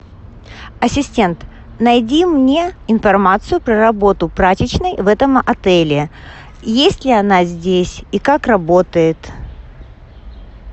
ассистент найди мне информацию про работу прачечной в этом отеле есть ли она здесь и как работает